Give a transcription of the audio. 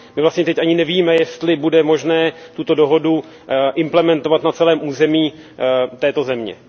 My vlastně teď ani nevíme, jestli bude možné tuto dohodu implementovat na celém území této země.